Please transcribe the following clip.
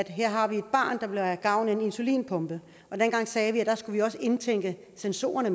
her har vi et barn der vil have gavn af en insulinpumpe og dengang sagde vi at vi også skulle indtænke sensorerne